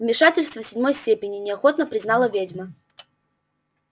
вмешательство седьмой степени неохотно признала ведьма